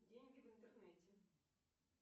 деньги в интернете